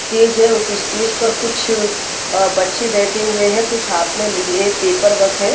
Stage है। उस stage पर कुछ अ बच्चे बैठे हुए हैं। कुछ हाथ में लिए पेपर वर्क है।